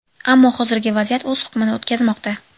Ammo hozirgi vaziyat o‘z hukmini o‘tkazmoqda.